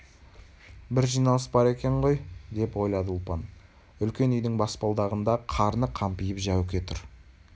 бір жиналыс бар екен ғой деп ойлады ұлпан үлкен үйдің баспалдағында қарны қампиып жәуке тұр